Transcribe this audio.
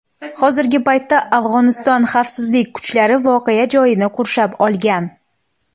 Hozirgi paytda Afg‘oniston xavfsizlik kuchlari voqea joyini qurshab olgan.